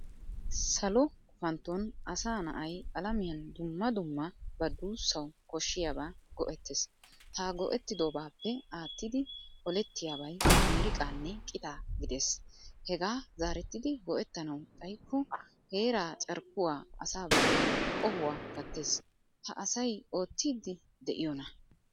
Salo gufantton asa na"ay alamiyan dumma dumma ba dussawu koshshiyaba go"etees. Ha go"ettidobappe attida ollettiyabay miiriqqanne qitta gidees. Hegaa zarettidi go"ettanawu xayikko heeraa carkkuwaa asa bollan qohuwaa gattees. Ha asay ottidi deiyona?